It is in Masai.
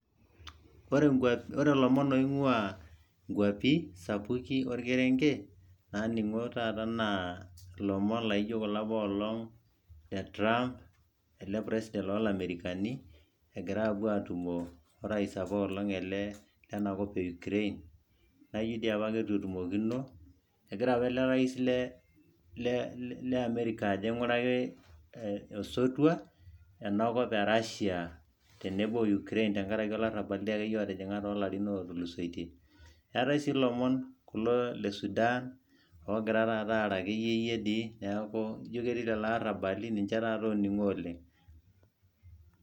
Ore lomon oingwaa inkwapi, sapuki olkerenke. Naaningo taata naa ilomon laijo kula apaelong, le Trump ele president oo lamerekani. Egira aapuo atumo orais ele apaa leinakop e ukraine naa ijo apa ketu etumokino egira apa ilo rais lee america aiguraki osotua enakop Erashia tenebo oo Ukraine tenkaraki olarabbal dii akeyie otijing'a too larin otulosoitie. Eetai sii lomon kulo le Sudan, oogira taata aara akeyie dii neaku ijo ketii lelo arabali lelo oningo oleng.